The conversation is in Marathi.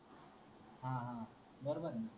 बरोबर हे